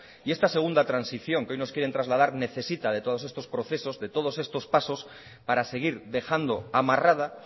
y esta segunda transición que hoy nos quieren trasladar necesita de todos estos procesos de todos estos pasos para seguir dejando amarrada